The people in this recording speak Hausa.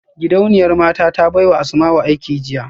Gidauniyar mata ta baiwa Asmau aiki jiya